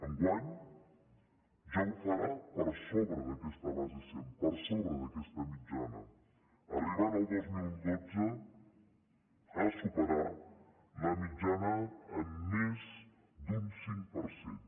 enguany ja ho farà per sobre d’aquesta base cent per sobre d’aquesta mitjana i arribarà el dos mil dotze a superar la mitjana en més d’un cinc per cent